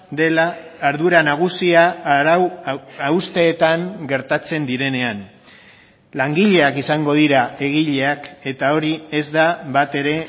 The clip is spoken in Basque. dela ardura nagusia arau hausteetan gertatzen direnean langileak izango dira egileak eta hori ez da batere